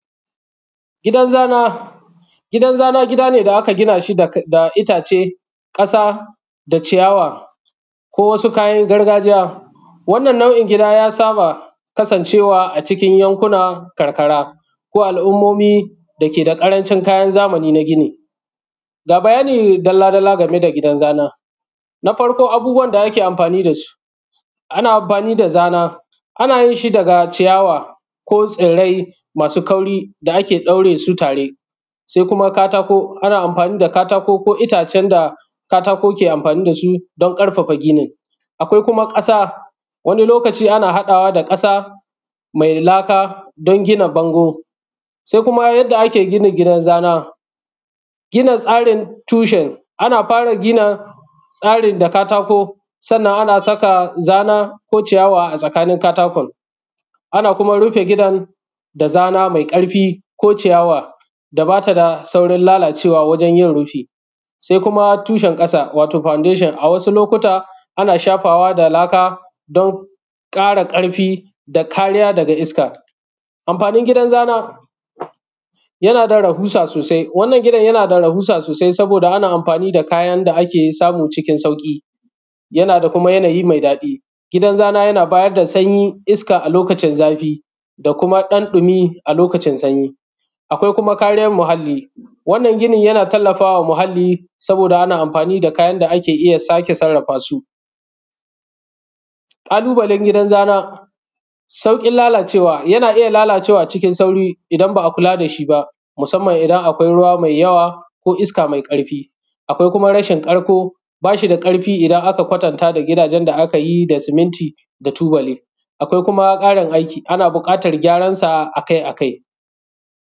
Gidan zana, gidan zana gida ne da aka gina shi da itace, ƙasa da ciyawa ko wasu kayan gargajiya wannan nau’in gida ya saba kasanceewa a cikin yankuna karkara ko al’ummomi dake da ƙarancin kayan zamani na gini. Ga bayani dalla-dalla game da gidan zana, na farko abubbuwan da ake amfani da su: ana amfani da zana, ana yin shi daga ciyawa ko tsirai masu kwari da ake ɗaure su tare se kuma katako, ana amfani da katako ko itacen da katako ke amfani da su don ƙarfafa gini, akwai kuma ƙasa wani lokaci ana haɗawa da ƙasa mai laka don gina bango. Se kuma yadda ake gina gidan zana, gina tsarin tushen ana fara gina tsarin da katako, sannan ana saka zana ko ciyawa a tsakanin katakon, ana kuma rufe gidan da zana mai ƙarfi ko ciyawa da ba ta da saurin lalacewa wajen yin rufi, se kuma tushen ƙasa wato fondashon a wasu lokuta ana shafawa da laka don ƙara ƙarfi da kariya daga iska. Amfani gidan zana, yana da rahusa sosai wannan gidan yana da rahusa sosai, saboda ana amfani da kayan da ake samu cikin sauƙi, yana da kuma yanayi me daɗi, gidan zana yana bayar da sanyi iska a lokacin zafi da kuma ɗan ɗumi a lokacin sanyi, akwai kuma kariyan muhalli wannan ginin yana taimakawa muhalli saboda ana amfani da kyan da ake iya sake sarrafa su. Kalubalen gidan zana, sauƙin lalacewa, yana ya lalacewa a cikin sauri idan ba a kula da shi ba musamman idan akwai ruwa mai yawa ko iska mai ƙarfi, akwai kuma rashin ƙarƙo ba shi da ƙarko, idan aka kwatanata da gidajen da aka yi da siminti da tubali, akwai kuma ƙarin aiki, ana buƙatar gyaransa akai-akai.